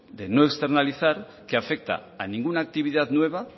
de no externalizar que afecta a